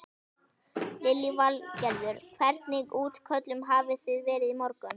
Lillý Valgerður: Hvernig útköllum hafi þið verið í morgun?